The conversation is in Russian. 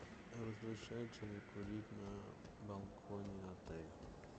разрешается ли курить на балконе отеля